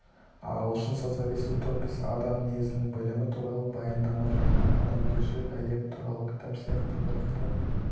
ағылшын социалист-утописі адам мінезінің білімі туралы баяндама жаңа адамгершілік әлемі туралы кітап сияқты бірқатар